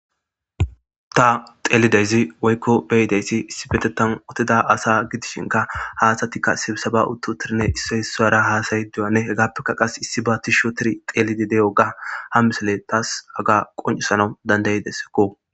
Ta xelidaysi woyko be'idaysi issipetetan utida asa gidishinka ha asatika sibseba utiuidine issoy isara hasa'idogane hegato qaseka issiba tishi xelidi de'iyoga ha missiley tas haga qonc'isanaw danda'desko.